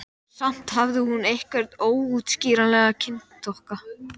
Langar verða mér skammdegisnæturnar án þín.